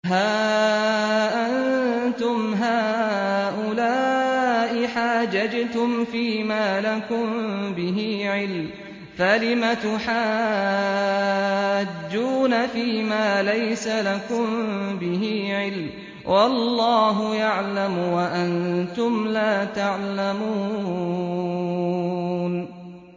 هَا أَنتُمْ هَٰؤُلَاءِ حَاجَجْتُمْ فِيمَا لَكُم بِهِ عِلْمٌ فَلِمَ تُحَاجُّونَ فِيمَا لَيْسَ لَكُم بِهِ عِلْمٌ ۚ وَاللَّهُ يَعْلَمُ وَأَنتُمْ لَا تَعْلَمُونَ